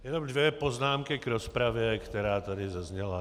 Jen dvě poznámky k rozpravě, která tu zazněla.